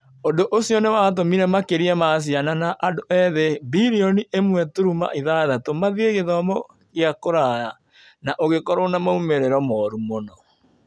Ũndũ ũcio nĩ watũmire makĩria ma ciana na andũ ethĩ bilioni 1.6 mathiĩ gĩthomo kĩa kũraya, na ũgĩkorũo na moimĩrĩro moru mũno.